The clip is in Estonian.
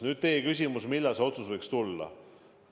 Nüüd teie küsimus, millal see otsus võiks tulla.